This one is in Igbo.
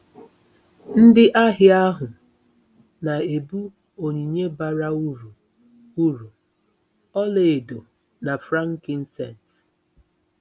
Ndị ahịa ahụ na-ebu onyinye bara uru, uru, “ ọlaedo na frankincense.